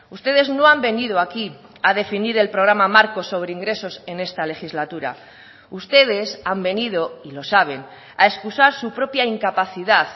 ustedes no han venido aquí a definir el programa marco sobre ingresos en esta legislatura ustedes han venido y lo saben a excusar su propia incapacidad